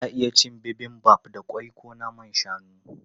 Ana iya cin Bibimbap da ƙwai ko naman shanu.